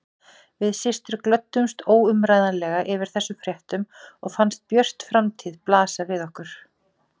Við systur glöddumst óumræðilega yfir þessum fréttum og fannst björt framtíð blasa við okkur.